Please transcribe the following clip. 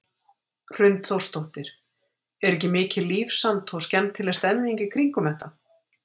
Hrund Þórsdóttir: Er ekki mikið líf samt og skemmtileg stemming í kringum þetta?